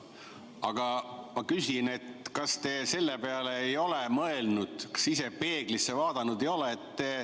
Aga ma küsin, kas te selle peale ei ole mõelnud, kas te ise peeglisse vaadanud ei ole.